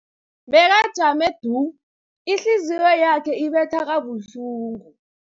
Bekajame du, ihliziyo yakhe ibetha kabuhlungu.